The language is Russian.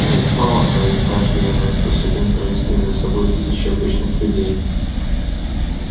иных мало но ведь каждый иной способен провести за собой тысячи обычных людей